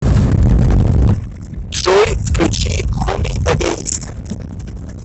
джой включи хоми эгоист